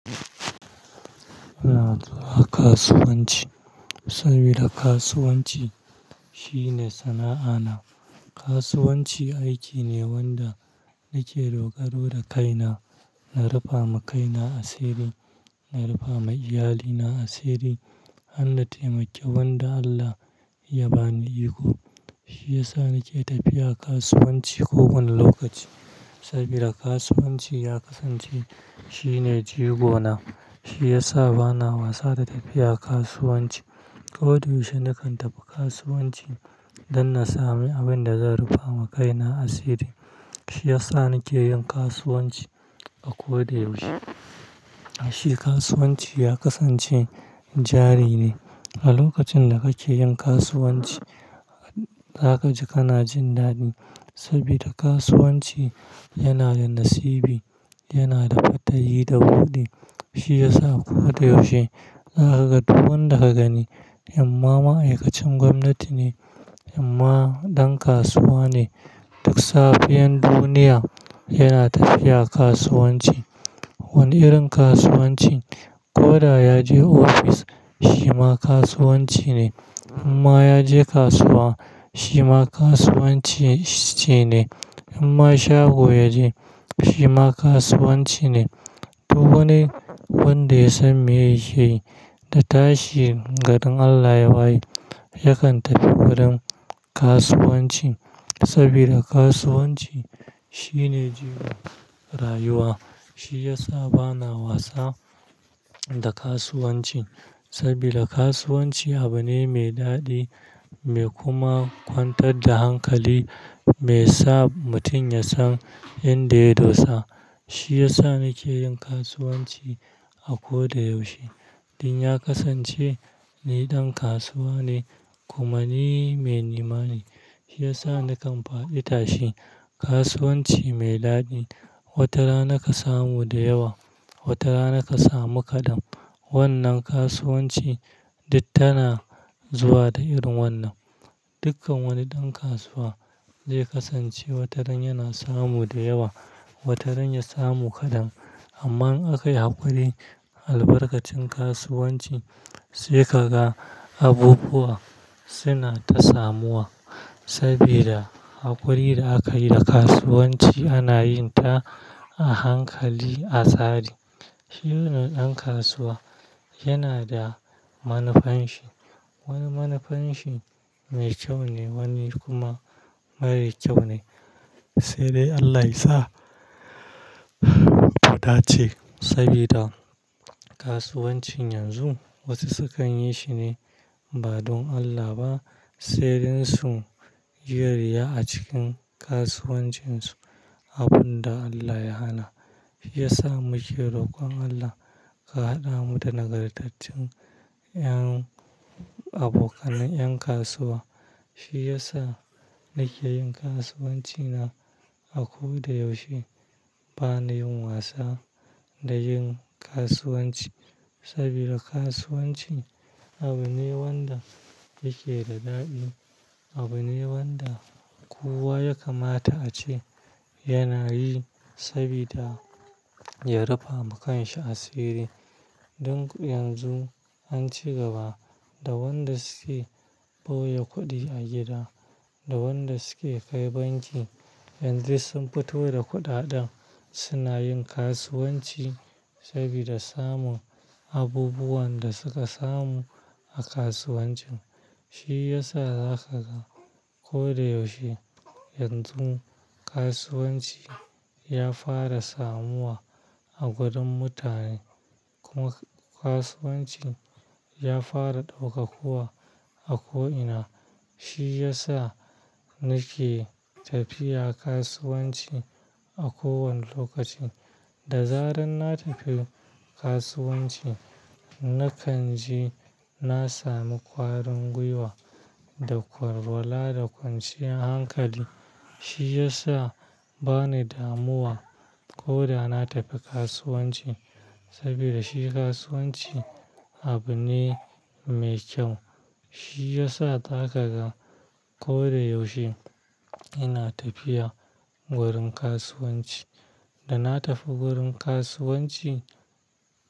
Ina zuwa kasuwanci saboda kasuwanci shine sana'a na. Kasuwanci aiki ne wanda nake dogaro da kaina, na rufa ma kaina asiri, na rufa ma iyalina asiri. Har na taimakeli wanda Allah ya ba ni iko, shi yasa nake tafiya kasuwanci ko wanne lokaci sabida kasuwanci ya kasance shine jigo na. Shi yasa bana wasa da tafiya kasuwanci. Ko da yaushe nakan tafi kasuwanci don na sami abin da zan rufa ma kaina asiri. Shi yasa nike yin kasuwanci a ko da yaushe. Shi kasuwanci ya kasance jari ne. A lokacin da kake yin kasuwanci, za ka ji kana jin daɗi sabida kasuwanci yana da nasibi, yana da fattari da buɗi. Shi yasa ko da yaushe za ka ga duk wanda ka gani, imma ma'aikacin gwamnati ne, amma ɗan kasuwa ne. Duk safiyan duniya yana tafiya kasuwanci. Wanne irin kasuwanci? Ko da ya je ofis, shi ma kasuwanci ne. Imma ya je kasuwa, shi ma kasuwanci ce ne. Imma shago ya je, shi ma kasuwanci ne. Duk wani wanda ya san mey yake yi da tashi garin Allah ya waye, ya kan tafi wurin kasuwanci. Sabida kasuwanci shine jigo rayuwa. Shi yasa bana wasa. Da kasuwanci sabida kasuwanci abu ne mai daɗi, mai kuma kwantar da hankali, mai sa mutum ya san inda ya dosa. Shi yasa nake yin kasuwanci a ko da yaushe. Dan ya kasance ni ɗan kasuwa ne kuma ni mai nema ne. Shi yasa nakan faɗi tashi. Kasuwanci mai daɗi. Wata rana ka samu da yawa, wata rana ka samu kaɗan. Wannan kasuwanci duk tana zuwa da irin wannan. Dukkan wani ɗan kasuwa zai kasance wataran yana samu da yawa, wataran ya samu kaɗan. Amma in akai haƙuri albarkacin kasuwanci sai ka ga abubuwa suna ta samuwa sabida haƙuri da aka yi da kasuwanci ana yin ta. A hankali, a tsari. Shirin ɗan kasuwa yana da manufanshi. Wani manufanshi mai kyau ne, wani kuma mara kyau ne. Kai dai Allah ya sa mu dace sabida kasuwancin yanzu wasu su kan yi shi ne. Ba don Allah ba, sai dan su yi riya a cikin kasuwancinsu. Abun da Allah ya hana. Shi yasa muke roƙon Allah ka haɗa mu da nagartaccen ƴan abokan ƴan kasuwa. Shi yasa nake yin kasuwanci na a ko da yaushe. Bana yin wasa da yin kasuwanci saboda kasuwanci abu ne wanda yake da daɗi. Abu ne wanda kowa ya kamata ace yana yi saboda ya rufa ma kansa asiri. Don yanzu an ci gaba da wanda suke ɓoye kuɗi a gida, da wanda suke kai banki Dan duk sun fito da kuɗaɗen, suna yin kasuwanci sabida samun abubuwan da suka samu a kasuwamcin. Shi yasa za ka ga ko da yaushe yanzu kasuwanci ya fara samuwa a gurin mutane, kuma kasuwamci. Ya fara ɗaukakuwa a ko ina. Shi yasa nake tafiya kasuwanci a kowanne lokaci. Da zarar na tafi kasuwanci, na kan ji na sami kwarin gwiwa da walwala da kwanciyar hankali. Shi yasa bani damuwa ko da na tafi kasuwanci saboda shi kasuwanci abu ne mai kyau. Shi yasa za ka ga ko da yaushe ina tafiya wurin kasuwanci. Da na tafi wurin kasuwanci.